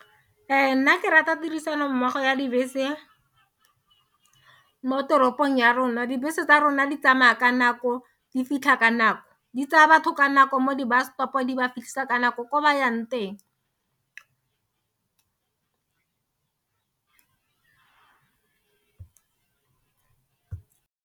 Ee nna ke rata tirisano mmogo ya dibese mo toropong ya rona, dibese tsa rona di tsamaya ka nako di fitlha ka nako di tsaya batho ka nako mo di bus stop-o, di ba fitlhisa ka nako ko ba yang teng.